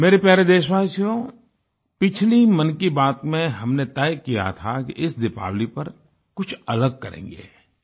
मेरे प्यारे देशवासियो पिछली मन की बात में हमने तय किया था कि इस दीपावली पर कुछ अलग करेंगे